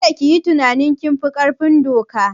Kada ku yi tunanin kun fi ƙarfin doka!